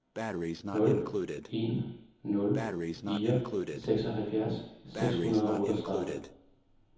nul en nul fire seksoghalvfjerds seks hundrede og otteogtredive